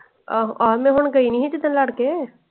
ਆਹੋ ਆਹ ਤੇ ਉਣ ਗਈ ਨੀ ਸੀ ਜਿੱਦਾਂ ਲੱਦ ਕੇ।